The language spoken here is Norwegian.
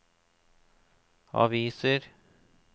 aviser